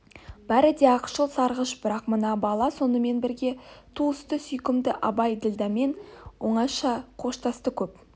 бәрі де ақшыл сарғыш бірақ мына бала сонымен бірге туысты сүйкімді абай ділдәменен оңаша қоштасты көп